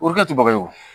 O kɛ ti baga ye wo